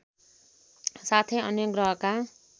साथै अन्य ग्रहका